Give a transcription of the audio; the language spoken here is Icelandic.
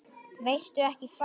Veistu ekki hvað?